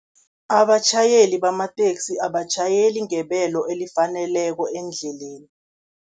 Abatjhayeli bamateksi abatjhayeli ngebelo elifaneleko endleleni.